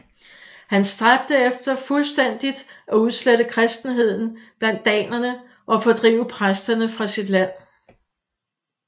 Han stræbte efter fuldstændigt at udslette kristenheden blandt danerne og fordrive præsterne fra sit land